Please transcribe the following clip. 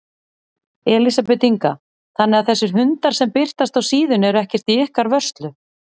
Elísabet Inga: Þannig þessir hundar sem birtast á síðunni eru ekkert í ykkar vörslu?